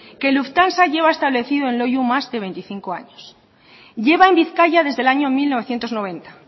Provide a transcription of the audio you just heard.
que lufthansa lleva establecido en loiu más de veinticinco años lleva en bizkaia desde el año mil novecientos noventa